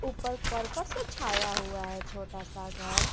ऊपर करकट से छाया हुआ है छोटा सा घर।